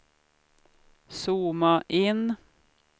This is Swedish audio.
zooma in